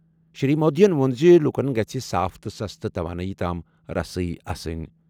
شری مودیَن ووٚن زِ لوٗکَن گژھہِ صاف تہٕ سستہٕ توانٲیی تام رسٲیی آسٕنۍ۔